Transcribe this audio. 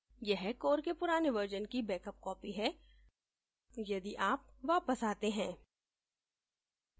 यह core के पुराने version की बेकअप copy है यदि आप वापस आते हैं